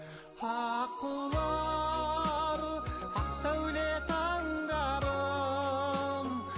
аққулар ақ сәуле таңдарым